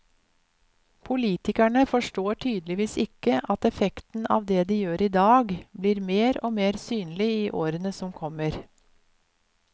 Politikerne forstår tydeligvis ikke at effekten av det de gjør i dag, blir mer og mer synlig i årene som kommer.